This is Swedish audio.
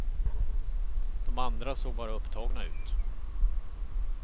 De andra såg bara upptagna ut.